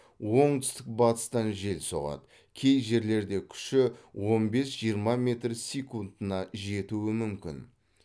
оңтүстік батыстан жел соғады кей жерлерде күші он бес жиырма метр секундына жетуі мүмкін